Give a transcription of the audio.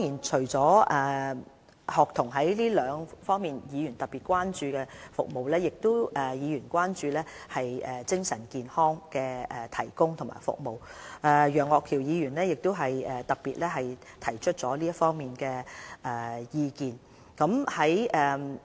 除了學童這兩方面的服務外，議員亦特別關注為他們提供的精神健康服務，例如楊岳橋議員亦特別就此提出意見。